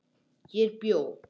Hér bjó